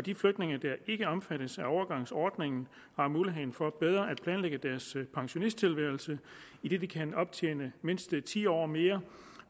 de flygtninge der ikke omfattes af overgangsordningen har mulighed for bedre at planlægge deres pensionisttilværelse idet de kan optjene mindst ti år mere